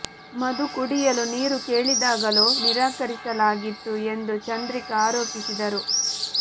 ಮಧು ಕುಡಿಯಲು ನೀರು ಕೇಳಿದಾಗಲೂ ನಿರಾಕರಿಸಲಾಗಿತ್ತು ಎಂದು ಚಂದ್ರಿಕಾ ಆರೋಪಿಸಿ ದರು